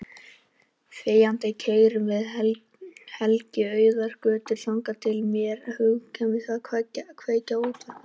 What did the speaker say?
Þegjandi keyrum við Helgi auðar götur þangað til mér hugkvæmist að kveikja á útvarpinu.